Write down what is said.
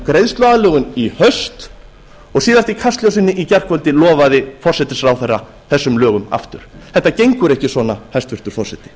greiðsluaðlögun í haust og síðast í kastljósinu í gærkvöldi lofaði forsætisráðherra þessum lögum aftur þetta gengur ekki svona hæstvirtur forseti